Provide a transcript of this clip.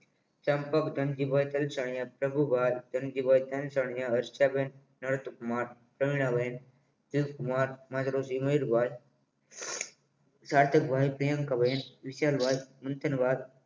ચંપક ધનજીભાઈ કલચણીયા પ્રભુભાઈ ધનજીભાઈ કલચણીયા હંસાબેન નર્થ માટક સાથે મંથન વાદ